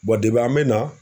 an bɛ na.